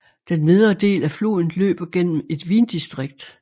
Den nedre del af floden løber gennem et vindistrikt